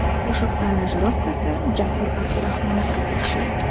Qo‘shiq aranjirovkasi Jasur Abdurahmonovga tegishli.